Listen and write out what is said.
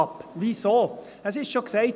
– Es wurde schon gesagt: